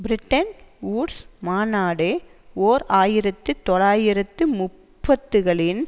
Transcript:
Bretton Woods மாநாடு ஓர் ஆயிரத்து தொள்ளாயிரத்து முப்பதுகளின்